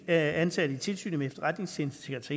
af ansatte i tilsynet med efterretningstjenesternes